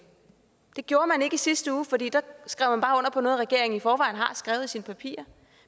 det gjorde man ikke i sidste uge for der skrev man bare under regeringen i forvejen har skrevet i sine papirer